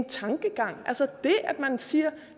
tankegang at man siger